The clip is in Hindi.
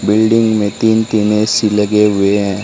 बिल्डिंग में तीन तीन ऐसी लगे हुए हैं।